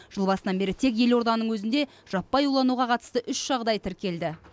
жыл басынан бері тек елорданың өзінде жаппай улануға қатысты үш жағдай тіркелді